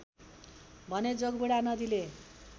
भने जोगबुढा नदीले